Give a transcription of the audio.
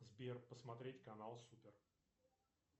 сбер посмотреть канал супер